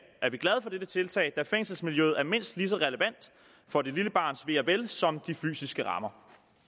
er vi glade for dette tiltag da fængselsmiljøet er mindst lige så relevant for det lille barns ve og vel som de fysiske rammer